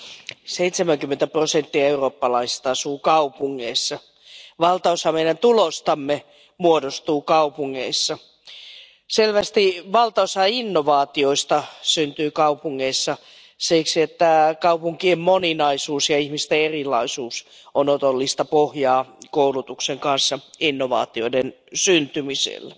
Arvoisa puhemies, 70 prosenttia eurooppalaisista asuu kaupungeissa. Valtaosa meidän tuloistamme muodostuu kaupungeissa. Selvästi valtaosa innovaatioista syntyy kaupungeissa siksi, että kaupunkien moninaisuus ja ihmisten erilaisuus ovat otollista pohjaa koulutuksen kanssa innovaatioiden syntymiselle.